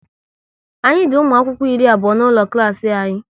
Anyị di ụmụ akwụkwọ iri abụọ n'ụlọ klas anyị